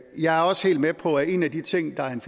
jeg er også helt med på at en af de ting der er